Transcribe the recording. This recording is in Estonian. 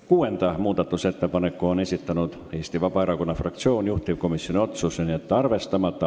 Kuuenda muudatusettepaneku on esitanud Eesti Vabaerakonna fraktsioon, juhtivkomisjoni otsus: jätta arvestamata.